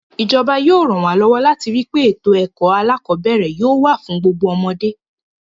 Ìjọba yóò ràn wá lọ́wọ́ láti rí pé ètò ẹ̀kọ́ alákọ̀ọ́bẹ̀ẹ̀rẹ̀ yóò wà fún gbogbo ọmọdé.